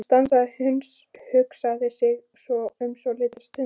Hann stansaði og hugsaði sig um svolitla stund.